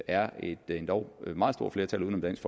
er et endog meget stort flertal uden om dansk